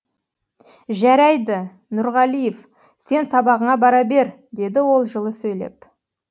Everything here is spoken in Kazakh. жәрәйді нұрғалиев сен сабағыңа бар бер деді ол жылы сөйлеп